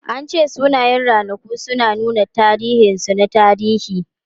An ce sunayen ranaku suna nuna tasirinsu na tarihi.